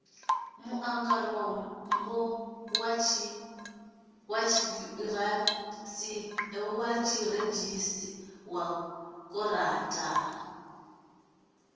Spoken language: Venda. muangarambo wa tshiṱirathedzhi wa kotara